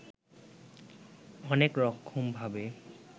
অনেক রকমভাবে